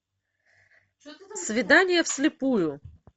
свидание вслепую